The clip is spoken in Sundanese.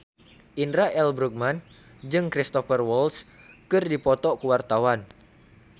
Indra L. Bruggman jeung Cristhoper Waltz keur dipoto ku wartawan